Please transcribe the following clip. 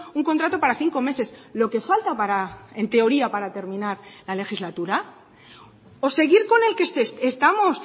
un contrato para cinco meses lo que falta para en teoría para terminar la legislatura o seguir con el que estamos